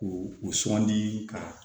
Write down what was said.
K'u u sugandi ka